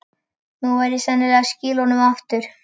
Nú verð ég sennilega að skila honum aftur.